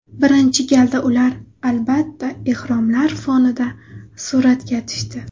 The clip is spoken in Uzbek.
Birinchi galda ular, albatta, ehromlar fonida suratga tushdi.